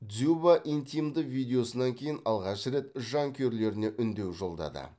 дзюба интимді видеосынан кейін алғаш рет жанкүйерлеріне үндеу жолдады